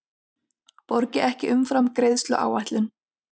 Borgi ekki umfram greiðsluáætlun